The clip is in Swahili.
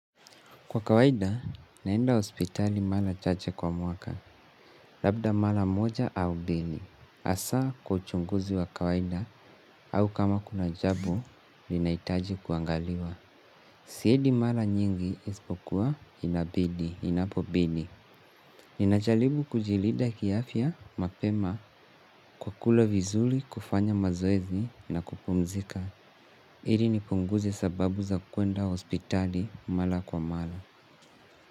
Kwa kawaida, naenda hospitali mala chache kwa mwaka, labda mala moja au bini. Hasaa kwachunguzi wa kawaida au kama kuna jabo, linahitaji kuangaliwa. Siedi mala nyingi isipokuwa inabidi, inapobidi. Ninachalibu kujilida kiafya, mapema, kwa kula vizuli, kufanya mazoezi na kupumzika. Piri nipunguze sababu za kuenda hospitali mala kwa mala.